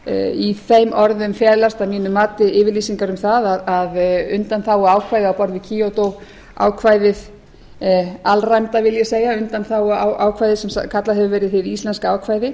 í þeim orðum felast að mínu mati yfirlýsingar um það að undanþáguákvæði á borð við kyoto ákvæðið alræmda vil ég segja undanþáguákvæðið sem kallað hefur verið hið íslenska ákvæði